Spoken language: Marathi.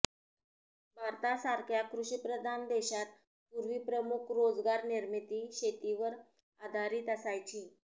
भारतासारख्या कृषिप्रधान देशात पूर्वी प्रमुख रोजगारनिर्मिती शेतीवर आधारित असायची